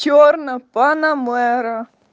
чёрная панамера